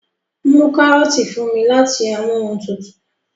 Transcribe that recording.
mú karọọti fún mí láti Amóhuntutù